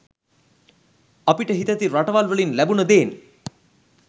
අපිට හිතැති රටවල් වලින් ලැබුන දේන්